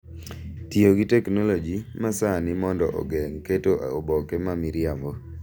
Tiyo gi teknoloji ma sani mondo ogeng’ keto oboke ma miriambo